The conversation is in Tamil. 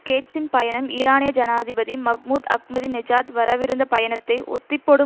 கேட்ஸின் பயணம் ஈரானிய ஜனாதிபதி மஹ்மூத் அஹ்மதிநெஜாத் வரவிருந்த பயணத்தை ஒத்திப்போடும்